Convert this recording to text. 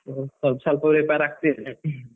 ಸ್ವಲ್ಪ ಸ್ವಲ್ಪ prepare ಆಗ್ತಾ ಇದ್ದೇನೆ.